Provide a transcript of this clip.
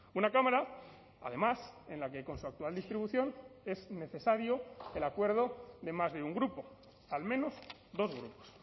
una cámara además en la que con su actual distribución es necesario el acuerdo de más de un grupo al menos dos grupos